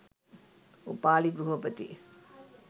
Upali ගෘහපති